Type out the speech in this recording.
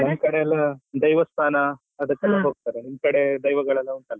ನಮ್ ಕಡೆ ಎಲ್ಲಾ ದೈವಸ್ಥಾನ ಅದಕ್ಕೆಲ್ಲ ಹೋಗ್ತಾರೆ, ನಿಮ್ ಕಡೆ ದೈವಗಳೆಲ್ಲ ಉಂಟಲ್ಲ?